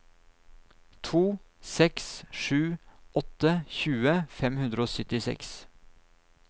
to seks sju åtte tjue fem hundre og syttiseks